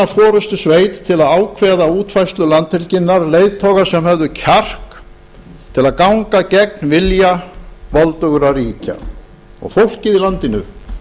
forustusveit til að ákveða útfærslu landhelginnar leiðtoga sem höfðu kjark til að ganga gegn vilja voldugra ríkja fólkið í landinu